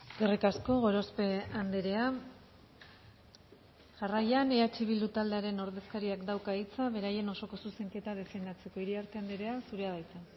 eskerrik asko gorospe andrea jarraian eh bildu taldearen ordezkariak dauka hitza beraien osoko zuzenketa defendatzeko iriartea andrea zurea da hitza